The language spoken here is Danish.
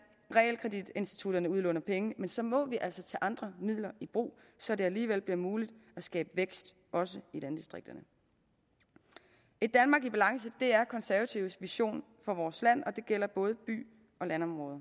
realkreditinstitutterne udlåner penge men så må vi altså tage andre midler i brug så det alligevel bliver muligt at skabe vækst også i landdistrikterne et danmark i balance er konservatives vision for vores land og det gælder både by og landområder